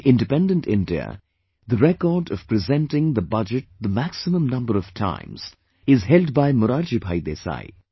In Independent India, the record of presenting the budget the maximum number of times is held by Morarjibhai Desai